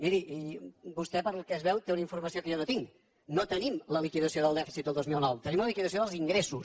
miri vostè pel que es veu té una informació que jo no tinc no tenim la liquidació del dèficit del dos mil nou tenim la liquidació dels ingressos